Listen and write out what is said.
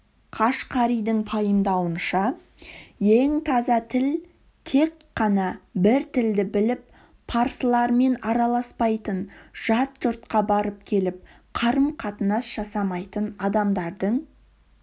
қашқаридің пайымдауынша ең таза тіл тек қана бір тілді біліп парсылармен араласпайтын жат жұртқа барып-келіп қарым-қатынас жасамайтын адамдардың